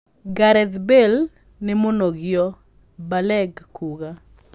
"Gareth Bale nĩ mũnogio", Balague kuuga.